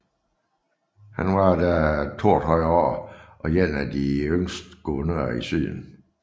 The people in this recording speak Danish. Han var da 32 år og én af de yngste guvernører i syden